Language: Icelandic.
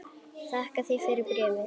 Þakka þér fyrir bréfið!